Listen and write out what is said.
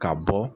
Ka bɔ